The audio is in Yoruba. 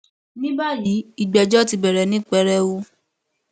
ní báyìí ìgbẹjọ ti bẹrẹ ní pẹrẹu